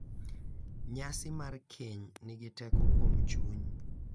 Nyasi mar keny nigi teko kuom chuny